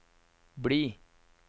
bli